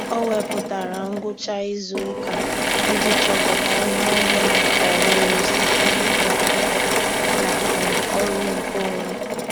Ọ́ wèpụ̀tárà ngwucha ìzù ụ́kà iji chọ́pụ́tá ihe ọ́mụ́ma ọ́hụ́rụ́ site n’ị́gụ́ ákwụ́kwọ́ na um ọ́rụ́ nkeonwe.